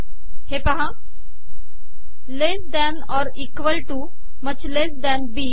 हे पहा less than or equal to much less than B